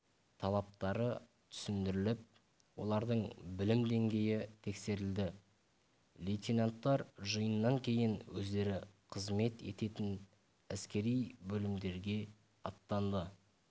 талаптары түсіндіріліп олардың білім деңгейі тексерілді лейтенанттар жиыннан кейін өздері қызмет ететін әскери бөлімдерге аттанды